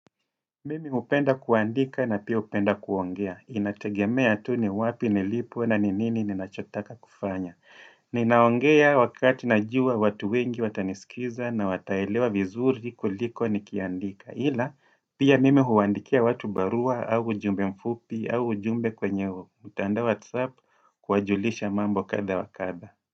Mimi hupenda kuandika na pia hupenda kuongea Inategemea tu ni wapi nilipo na ni nini ninachotaka kufanya Ninaongea wakati najua watu wengi watanisikiza na wataelewa vizuri kuliko nikiandika Hila pia mime huwandikia watu barua au ujumbe mfupi au ujumbe kwenye mtandao wa whatsapp kuwajulisha mambo kadha wa kadha.